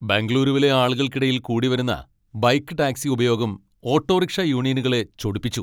ബെംഗളൂരുവിലെ ആളുകൾക്കിടയിൽ കൂടി വരുന്ന ബൈക്ക് ടാക്സി ഉപയോഗം ഓട്ടോറിക്ഷാ യൂണിയനുകളെ ചൊടിപ്പിച്ചു.